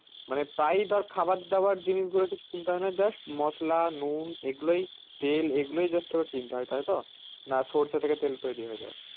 মানে প্রায় খাবার দাবার জিনিস গুলো কিনতে হয় না just মসলা নুন এইগুলোই তেল এইগুলোই just তোকে কিনতে হয় তাইতো না সরষে থেকে তেল তৈরি হয়ে যাই ।